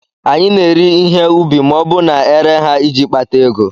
Anyị na-eri ihe ubi ma ọ bụ na-ere ha iji kpata ego